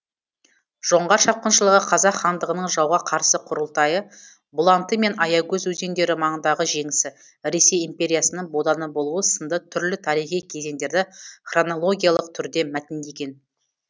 жоңғар шапқыншылығы қазақ хандығының жауға қарсы құрылтайы бұланты мен аягөз өзендері маңындағы жеңісі ресей империясының боданы болуы сынды түрлі тарихи кезеңдерді хронологиялық түрде мәтіндеген